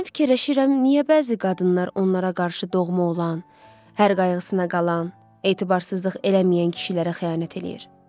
Hərdən fikirləşirəm, niyə bəzi qadınlar onlara qarşı doğma olan, hər qayğısına qalan, etibarsızlıq eləməyən kişilərə xəyanət eləyir?